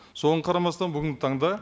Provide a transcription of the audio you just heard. соған қарамастан бүгінгі таңда